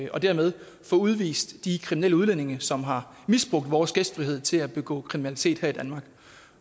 og dermed få udvist de kriminelle udlændinge som har misbrugt vores gæstfrihed til at begå kriminalitet her i danmark